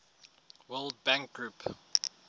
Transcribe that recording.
world bank group